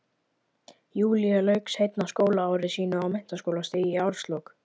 Júlía lauk seinna skólaári sínu á menntaskólastigi í árslok